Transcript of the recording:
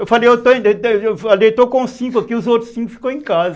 Eu falei, eu estou com cinco aqui, os outros cinco ficaram em casa.